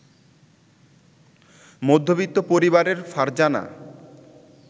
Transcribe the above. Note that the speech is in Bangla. মধ্যবিত্ত পরিবারের ফারজানা